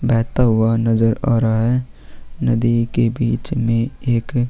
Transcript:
बहता हुआ नज़र आ रहा है नदी के बीच में एक --